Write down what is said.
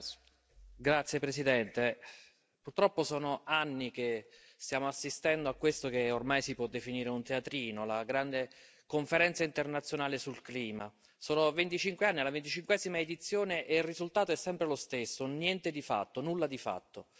Signora Presidente, onorevoli colleghi, purtroppo sono anni che stiamo assistendo a quello che ormai si può definire un teatrino la grande conferenza internazionale sul clima. Sono 25 anni e alla 25a edizione il risultato è sempre lo stesso un niente di fatto, un nulla di fatto.